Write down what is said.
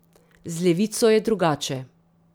Z levico je drugače.